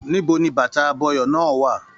Níbo ní bàtà abọyọ̀ náà wà?